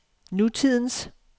nutidens